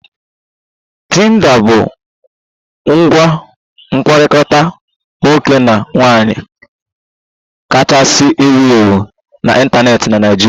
Tinder bụ ngwa mkpakọrịta nwoke na nwaanyị kachasị ewu ewu n'ịntanetị na Nigeria